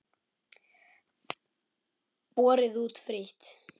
Borið út frítt.